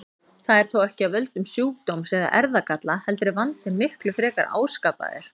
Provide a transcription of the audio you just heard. Það er þó ekki af völdum sjúkdóms eða erfðagalla heldur er vandinn miklu frekar áskapaður.